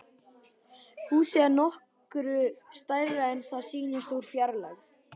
Húsið er nokkru stærra en það sýndist úr fjarlægð.